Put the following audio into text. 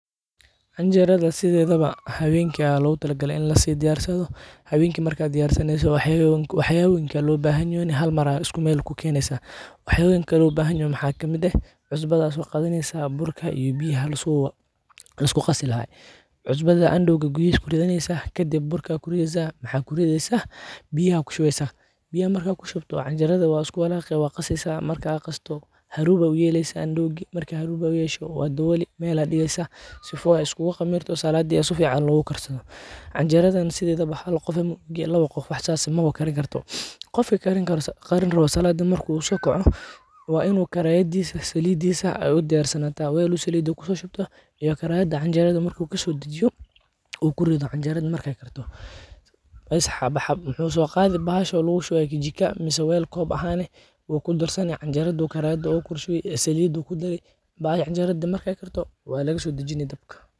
Canjerada sidedaba hawenki aya logutalagalee in lasodiyarsado, hawenki marka diyarsaneyso wax yabonyinka lobaxanyo hal mar aa iskumel kukeneysa, wax yabonyinka lobaxanyoho waxa kamid eh, cusbada soqadaneysa, burka iyo biya laskuqasilaxay, cusbada andowga Gudixi kuridaneysa, kadib burka kurideysa maxa kurideysa, biya kushuweysaa, biyaxa marka kushubto canjerada wa iskuwalaqeysaa wa qaseysaa, marka qasto harub aya uyeleysaa andowgi, marka xaruub aad uyesho, wadawolii meel aa digeysa, sifo ay iskulaqamirto oo saladi sifican logukarsado, canjeradan sidedaba hal gof iyo lawa gof mawakarinkarto, gofka karinrawo saladi marku sokoco, wa inu larayadisa, salidisa udiyarsanata wal oo salida kushoshubta iyo karayada canjerada marku kasodajiyo, u kurida canjerada markay karto, bess wuxu soqadii bahadho lagushuway kajikaa mise mel kob ahan eh, wukudarsani canjerada u karaday kushuwii ee salida kudarii, mahashas canjerada markay karto walagasodaji dabk.